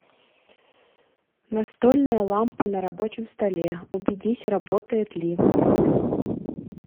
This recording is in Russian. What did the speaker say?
настольная лампа на рабочем столе убедись работает ли